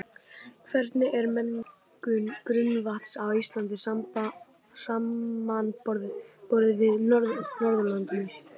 Hvernig er mengun grunnvatns á Íslandi samanborið við Norðurlöndin?